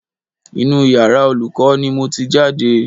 Inú yàrá Olùkọ́ ni mo ti jáde